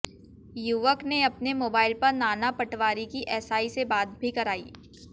युवक ने अपने मोबाइल पर नाना पटवारी की एसआई से बात भी कराई